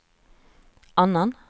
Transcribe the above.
annan